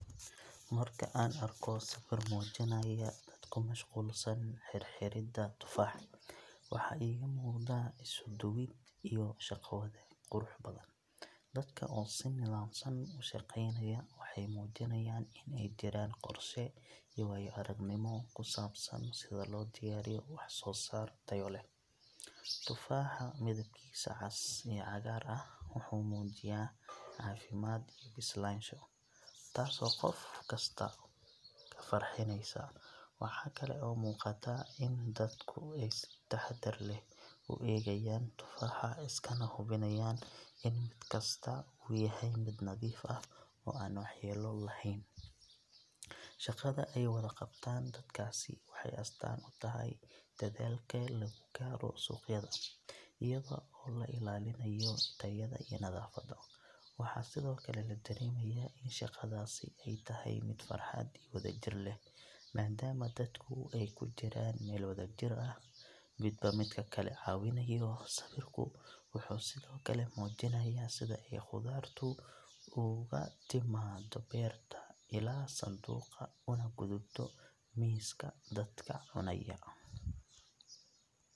Marka aan arko sawir muujinaya dad ku mashquulsan xirxiridda tufaax, waxa iiga muuqda isuduwid iyo shaqo-wadaag qurux badan. Dadka oo si nidaamsan u shaqeynaya waxay muujinayaan in ay jiraan qorshe iyo waayo-aragnimo ku saabsan sida loo diyaariyo waxsoosaar tayo leh. Tufaaxa midabkiisa cas iyo cagaar ah wuxuu muujiyaa caafimaad iyo bislaansho, taasoo qof kasta ka farxinaysa. Waxa kale oo muuqata in dadku ay si taxaddar leh u eegayaan tufaaxa, iskana hubinayaan in mid kasta uu yahay mid nadiif ah oo aan waxyeello lahayn. Shaqada ay wada qabtaan dadkaasi waxay astaan u tahay dadaalka lagu gaaro suuqyada, iyadoo la ilaalinayo tayada iyo nadaafadda. Waxaa sidoo kale la dareemayaa in shaqadaasi ay tahay mid farxad iyo wadajir leh, maadaama dadku ay ku jiraan meel wadajir ah, midba midka kale ka caawinayo. Sawirku wuxuu sidoo kale muujinayaa sida ay khudaartu uga timaaddo beerta ilaa sanduuqa, una gudubto miiska dadka cunaya.